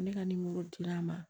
Ne ka dira a ma